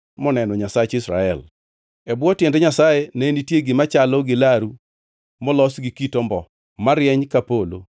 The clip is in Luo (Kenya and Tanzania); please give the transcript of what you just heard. moneno Nyasach Israel. E bwo tiend Nyasaye ne nitie gima chalo gi laru molos gi kit ombo, marieny ka polo.